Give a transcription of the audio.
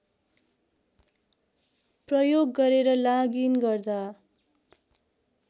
प्रयोग गरेर लॉगइन गर्दा